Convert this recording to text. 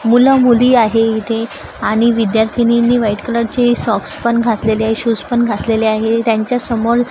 मुलं मुली आहे इथे आणि विद्यार्थीनींनी व्हाईट कलरचे सॉक्स पण घातलेले आहे शूज पण घातलेले आहे त्यांच्यासमोर--